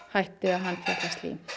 hætti að handfjatla slím